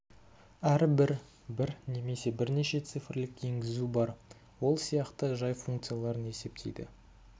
әрбір бір немесе бірнеше цифрлік енгізу бар ол сияқты жай функцияларын есептейді